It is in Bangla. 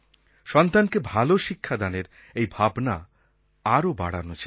সন্তানকে ভালো শিক্ষাদানের এই ভাবনা আরো বাড়ানো চাই